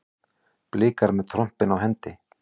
Blikar með trompin á hendi